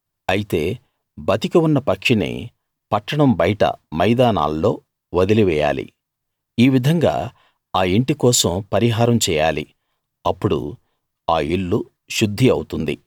అయితే బతికి ఉన్న పక్షిని పట్టణం బయట మైదానాల్లో వదిలివేయాలి ఈ విధంగా ఆ ఇంటి కోసం పరిహారం చేయాలి అప్పుడు ఆ ఇల్లు శుద్ధి అవుతుంది